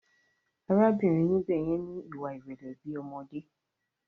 Arábìnrin níbè yẹn ni ìwà ìrẹlẹ bi ọmọdé.